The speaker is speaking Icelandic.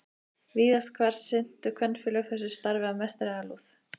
Víðast hvar sinntu kvenfélög þessu starfi af mestri alúð.